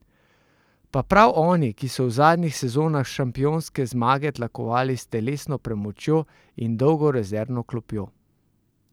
Pa prav oni, ki so v zadnjih sezonah šampionske zmage tlakovali s telesno premočjo in dolgo rezervno klopjo!